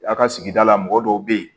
A ka sigida la mɔgɔ dɔw bɛ ye